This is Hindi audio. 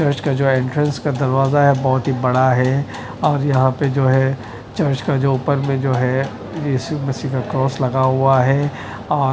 चर्च का जो एंट्रेंस का दरवाजा है बहोत ही बड़ा है और यहां पे जो है चर्च का जो ऊपर में जो है यीशु मसीह का क्रॉस लगा हुआ है और --